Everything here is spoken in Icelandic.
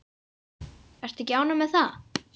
Ertu ekki ánægð með það?